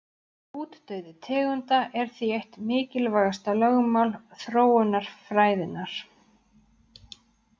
Útdauði tegunda er því eitt mikilvægasta lögmál þróunarfræðinnar.